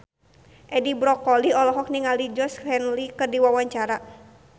Edi Brokoli olohok ningali Georgie Henley keur diwawancara